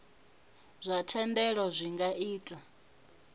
zwa thendelo zwi nga ita